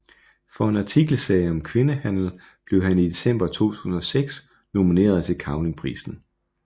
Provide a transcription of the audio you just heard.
For en artikelserie om kvindehandel blev han i december 2006 nomineret til Cavlingprisen